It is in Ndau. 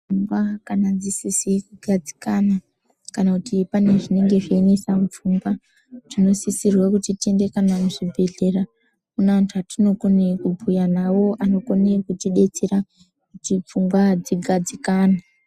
Pfungwa kana dzisizi kugadzikana kana kuti pane zvinenge zveinesa mupfungwa tinosisirwa kana kuti tiende kana muzvibhedhlera mune andu atinokona kubhuya nawo anokone kutidetsera kuti pfungwa dzigatsikane.